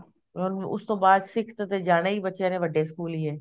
or ਉਸ ਤੋਂ ਬਾਅਦ sixth ਚ ਜਾਣਾ ਹੀ ਬੱਚਿਆ ਨੇ ਵੱਡੇ ਸਕੂਲ ਈ ਐ